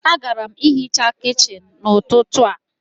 Agara m ihicha kichin n'ụtụtụ a.